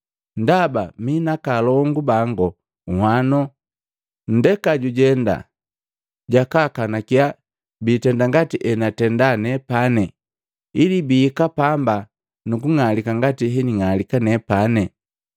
ndaba mi naakaalongu bangu nhwano. Nndeka jujenda jakaakanakiya biitenda ngati enatenda nepani ili bihika pamba nu kung'alika ngati hening'alika nepane.’